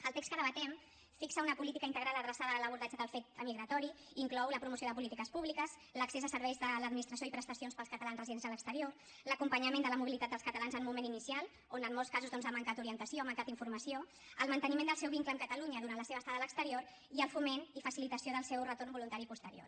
el text que debatem fixa una política integral adreçada a l’abordatge del fet emigratori inclou la promoció de polítiques públiques l’accés a serveis de l’administració i prestacions per als catalans residents a l’exterior l’acompanyament de la mobilitat dels catalans en un moment inicial on en molts casos doncs ha mancat orientació ha mancat informació el manteniment del seu vincle amb catalunya durant la seva estada a l’exterior i el foment i facilitació del seu retorn voluntari posterior